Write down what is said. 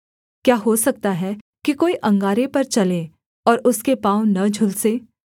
क्या हो सकता है कि कोई अंगारे पर चले और उसके पाँव न झुलसें